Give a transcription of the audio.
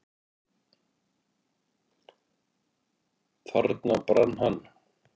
Þarna brann hann.